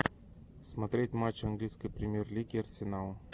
смотреть матч английской премьер лиги арсенал